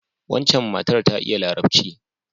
Waccan matar ta iya Larabci.